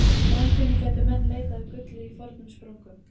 Í framtíðinni gætu menn leitað að gulli í fornum sprungum.